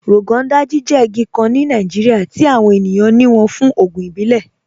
Rọgọn Dàjì jẹ́ igi kàn ní Nàìjíríà tí awọn ènìyàn ní wọ́n fún ògùn ìbílẹ̀.